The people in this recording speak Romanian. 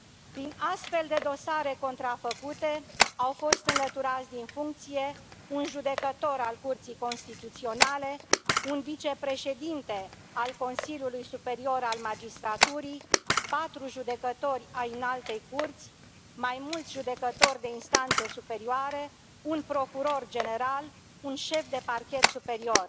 Prin astfel de dosare contrafăcute au fost înlăturați din funcție un judecător al Curții Constituționale, un vicepreședinte al Consiliului Superior al Magistraturii, patru judecători ai Înaltei Curți, mai mulți judecători de instanțe superioare, un procuror general, un șef de Parchet Superior.